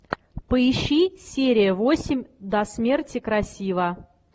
поищи серия восемь до смерти красива